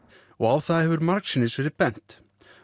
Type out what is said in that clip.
og á það hefur margsinnis verið bent